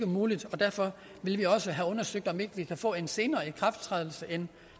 muligt og derfor vil vi også have undersøgt om ikke vi kan få en senere ikrafttrædelsesdato end